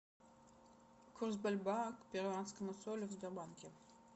курс бальбоа к перуанскому солю в сбербанке